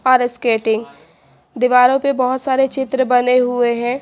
और स्केटिंग दीवारों पर बहोत सारे चित्र बने हुए हैं।